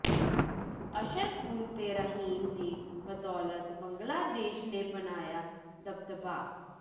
ਅਸ਼ਰਫੁਲ ਤੇ ਰਹੀਮ ਦੀ ਬਦੌਲਤ ਬੰਗਲਾਦੇਸ਼ ਨੇ ਬਣਾਇਆ ਦਬਦਬਾ